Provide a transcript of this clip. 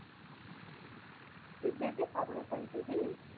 எப்படி எப்படி? பதினெட்டாம் தேதி